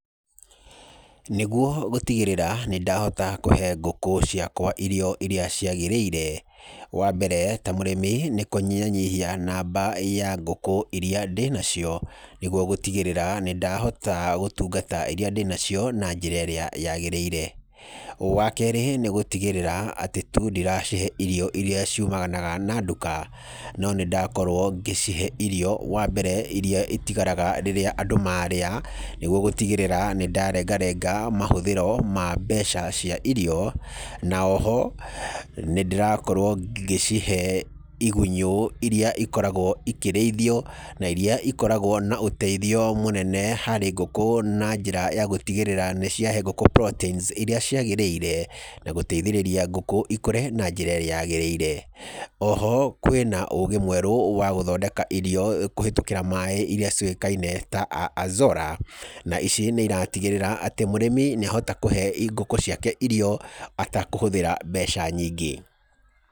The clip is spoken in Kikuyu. Nĩguo gũtigĩrĩra nĩ ndahe ngũkũ ciakwa irio irĩa ciagĩrĩire, wa mbere ta mũrĩmi nĩ kũnyihanyihia ngũkũ irĩa ndĩnacio nĩguo gũtigĩrĩra nĩ ndahota gũtungata irĩa ndĩnacio na njĩra ĩrĩa yaagĩrĩire. Wa kerĩ nĩ gũtigĩrĩra atĩ tu ndiracihe irio irĩa cimanaga na nduka, no nĩ ndakorwo ngĩcihe irio wa mbere irĩa itigaraga rĩrĩa andũ marĩa. Nĩguo gũtigĩrĩra nĩ ndarengarenga mahúthĩro ma mbeca cia irio. O ho nĩ ndĩrakorwo ngĩcihe igunyũ irĩa ikoragwo ikĩrĩithio na irĩa ikorgwo na ũteithio mũnene harĩ ngũkũ, na njra ya gũtigĩrĩra nĩ ciahe ngũkũ proteins irĩa ciagĩrĩire na gũteithĩrĩria ngũkũ ikũre na njĩra ĩrĩa yaagĩrĩire. O ho kwĩna ũgĩ mwerũ wa gũthondeka irio kũhĩtũkĩra maĩ irĩa ciũĩkaine ta Azolla. Na ici nĩ iratigĩrĩra mũrĩmi ni ahota kũhe ngũkũ ciake irio atekũhũthĩra mbeca nyingĩ.